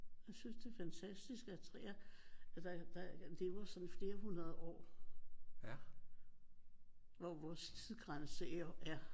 Jeg synes det er fantastisk at træer at der lever sådan flere hundrede år hvor vores tidsgrænse er